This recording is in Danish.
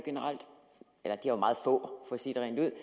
jo meget få for at sige det rent ud